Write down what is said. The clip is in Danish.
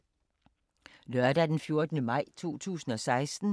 Lørdag d. 14. maj 2016